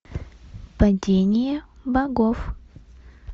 падение богов